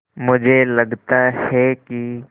मुझे लगता है कि